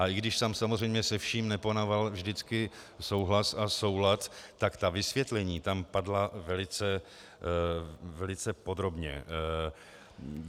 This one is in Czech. A i když tam samozřejmě se vším nepanoval vždycky souhlas a soulad, tak ta vysvětlení tam padla velice podrobně.